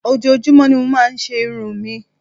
Ojoojúmọ́ ni mo máa ń se irun mi